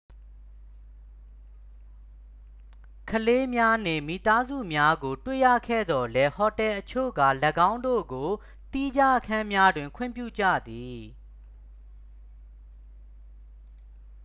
ကလေးများနှင့်မိသားစုများကို တွေ့ရခဲသော်လည်း ဟိုတယ်အချို့က ၎င်းတို့ကို သီးခြားအခန်းများတွင် ခွင့်ပြုကြသည်